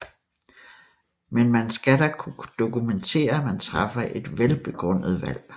Men man skal da kunne dokumentere at man træffer et velbegrundet valg